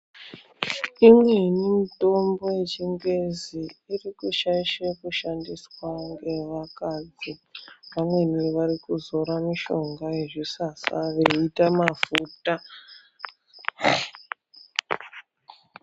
Imweni mitombo yechingezi iri kushaishe kushandiswa ngevakadzi. Vamweni varikuzora mishonga yezvisasa veiita mafuta.